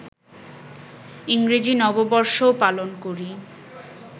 ইংরেজি নববর্ষও পালন করি